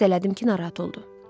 Hiss elədim ki, narahat oldu.